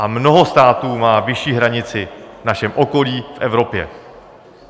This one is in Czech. A mnoho států má vyšší hranici v našem okolí, v Evropě.